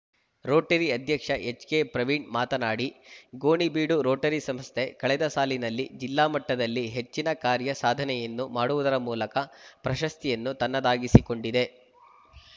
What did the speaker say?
Rotary ಅಧ್ಯಕ್ಷ ಎಚ್‌ಕೆಪ್ರವೀಣ್‌ ಮಾತನಾಡಿ Gonibeedu Rotary ಸಂಸ್ಥೆ ಕಳೆದ ಸಾಲಿನಲ್ಲಿ ಜಿಲ್ಲಾ ಮಟ್ಟದಲ್ಲಿ ಹೆಚ್ಚಿನ ಕಾರ್ಯ ಸಾಧನೆಯನ್ನು ಮಾಡುವುದರ ಮೂಲಕ ಪ್ರಶಸ್ತಿಯನ್ನು ತನ್ನದಾಗಿಸಿಕೊಂಡಿದೆ